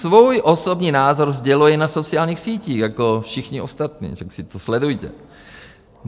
Svůj osobní názor sděluji na sociálních sítích jako všichni ostatní, takže si to sledujte.